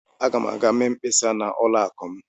Aga m aga mee mkpesa na ụlọ akụ m.